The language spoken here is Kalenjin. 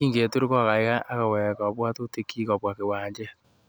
Kingetur kokaikai akowek kabwatutikchi kobwa kiwanjet